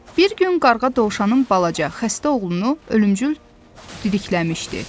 Bir gün qarğa dovşanın balaca, xəstə oğlunu ölümcül didikləmişdi.